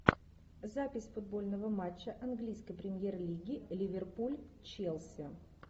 запись футбольного матча английской премьер лиги ливерпуль челси